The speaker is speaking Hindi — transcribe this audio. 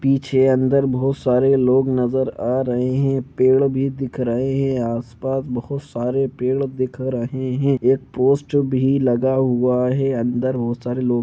पीछे अंदर बहुत सारे लोग नजर आ रहे है पेड़ भी दिख रहे है आसपास बहुत सारे पेड़ दिख रहे है एक पोस्ट भी लगा हुआ है अंदर बहुत सारे लोग--